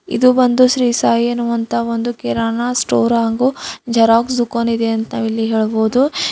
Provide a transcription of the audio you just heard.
ಇದು ಬಂದು ಶ್ರೀ ಸಾಯಿ ಎನುವಂತಹ ಒಂದು ಕಿರಾನ ಸ್ಟೋರ್ ಹಾಗು ಜೆರಾಕ್ಸ್ ದುಕಾನ್ ಇದೆ ಅಂತ ಇಲ್ಲಿ ನಾವು ಹೇಳಬಹುದು.